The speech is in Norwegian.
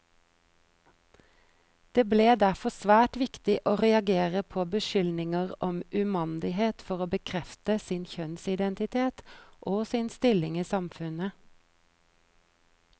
Det ble derfor svært viktig å reagere på beskyldninger om umandighet for å bekrefte sin kjønnsidentitet, og sin stilling i samfunnet.